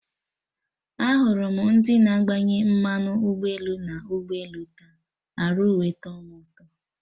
Ahụrụ m ndị na-agbanye mmanụ ụgbọelu na ụgbọelu taa, arụ wee tọ mụ ụtọ